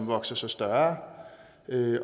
vokse sig større